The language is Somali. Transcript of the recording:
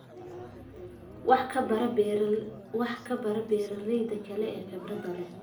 Wax ka baro beeraleyda kale ee khibradda leh.